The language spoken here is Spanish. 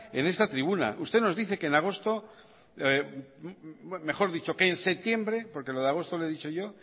en esta tribuna usted nos dice que en agosto mejor dicho en septiembre porque lo de agosto le he dicho yo